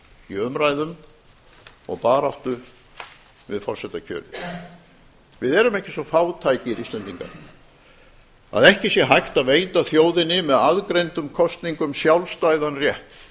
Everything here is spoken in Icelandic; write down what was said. í umræðum og baráttu við forsetakjörið við erum ekki svo fátækir íslendingar að ekki sé hægt að veita þjóðinni með aðgreindum kosningum sjálfstæðan rétt